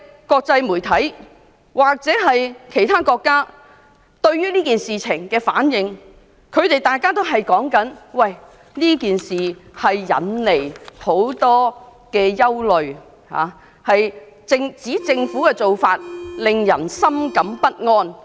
國際媒體或外國政府對這件事件回應時表示，他們認為此事引起很多憂慮，香港政府的做法令人深感不安。